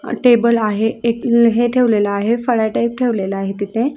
Table आहे एक हे ठेवलेले आहे फळ्या टाईप ठेवलेले आहे तिथे.